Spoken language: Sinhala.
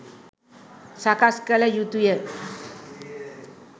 සකස් කල යුතුය.